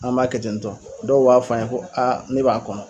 An b'a kɛ ten tɔ, dɔw b'a fɔ an ye ko ne b'a kɔnɔn